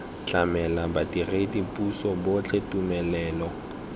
tlamela badiredi puso botlhe tumelelo